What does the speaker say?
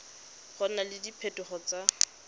go na le diphetogo tse